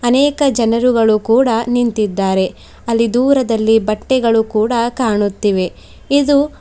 ಅನೇಕ ಜನರುಗಳು ಕೂಡ ನಿಂತಿದ್ದಾರೆ ಅಲ್ಲಿ ದೂರದಲ್ಲಿ ಬಟ್ಟೆಗಳು ಕೂಡ ಕಾಣುತ್ತಿವೆ ಇದು--